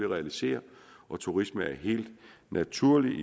realisere og turisme er helt naturligt